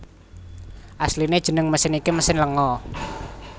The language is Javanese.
Asliné jeneng mesin iki mesin lenga